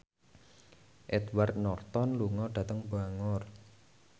Edward Norton lunga dhateng Bangor